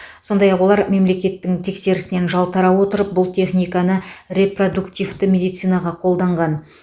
сондай ақ олар мемлекеттің тексерісінен жалтара отырып бұл техниканы репродуктивті медицинаға қолданған